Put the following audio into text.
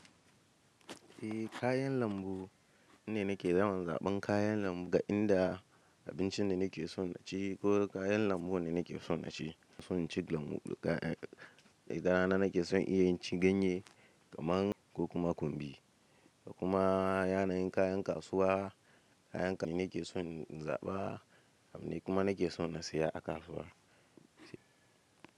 Eh kayan lambu ni nake yawan zaɓan kayan lambu ga inda abincin da nake son na ci ko kayan lambu wanda nake son na ci. Ina son cin lambu, daga rana nake son iya cin ganye kaman ko kuma kumbi kuma yanayin kayan kasuwa, kayan nake son in zaɓa har ma nake son na saya a kasuwa.